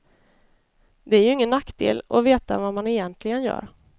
Det är ju ingen nackdel att veta vad man egentligen gör.